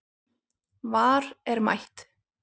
VAR er mætt